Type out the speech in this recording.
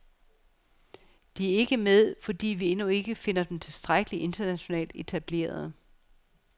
De er ikke med, fordi vi endnu ikke finder dem tilstrækkelig internationalt etablerede.